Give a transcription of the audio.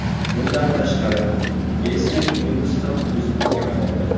Bundan tashqari, eski uyimiz ham o‘zimizga qoldi.